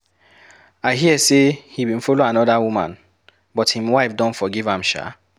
I hear say he bin follow another woman but him wife don forgive am shaa.